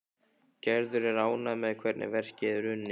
Gerður er ánægð með hvernig verkið er unnið.